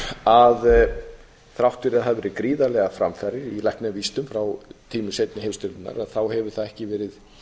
að þrátt fyrir að hafi verið gríðarlegar framfarir í læknavísindum frá tímum seinni heimsstyrjaldarinnar hefur það ekki verið